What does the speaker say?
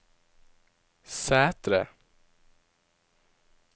Sætre